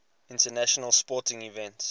international sporting events